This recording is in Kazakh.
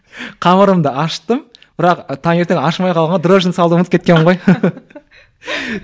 қамырымды ашыттым бірақ таңертең ашымай қалған ғой дрожжіні салуды ұмытып кеткенмін ғой